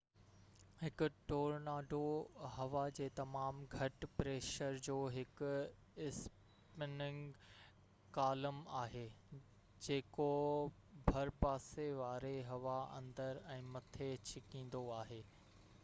هڪ ٽورناڊو هوا جي تمام گهٽ-پريشر جو هڪ اسپننگ ڪالم آهي جيڪو ڀرپاسي واري هوا اندر ۽ مٿي ڇڪيندو آهي